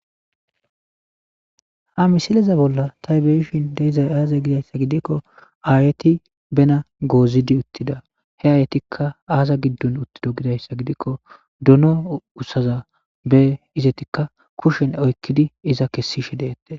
Ha misile bolla betidayi aze giyabba gidikko ayeti benitana gozidi uttida he ayetika aza gidoni utidda gidikko doono kusaza etika kushezani oyikid kesishe desi